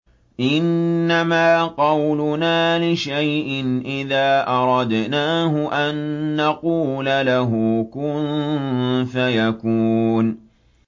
إِنَّمَا قَوْلُنَا لِشَيْءٍ إِذَا أَرَدْنَاهُ أَن نَّقُولَ لَهُ كُن فَيَكُونُ